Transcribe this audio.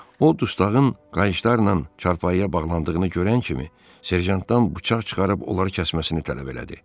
O dustağın qayışlarla çarpayıya bağlandığını görən kimi serjantdan bıçaq çıxarıb onları kəsməsini tələb elədi.